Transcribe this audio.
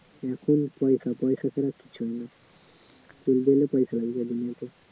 এখন পয়সা টয়সা ছাড়া তো চলে না